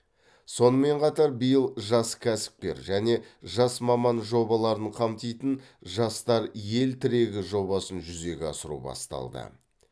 сонымен қатар биыл жас кәсіпкер және жас маман жобаларын қамтитын жастар ел тірегі жобасын жүзеге асыру басталды